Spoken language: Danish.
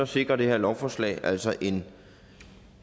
sikrer det her lovforslag altså en